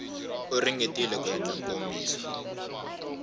u ringetile ku endla nkomiso